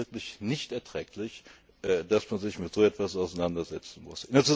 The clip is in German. Es ist wirklich nicht erträglich, dass man sich mit so etwas auseinandersetzen